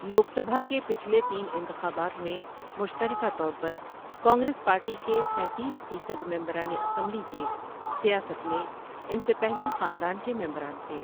لوک سبھا کے پچھلے تین انتخابات میں مشترکہ طور پر، کانگریس پارٹی کے سینتیس فیصد ممبران اسمبلی کے سیاست میں ان سے پہلے خاندان کے ممبران تھے۔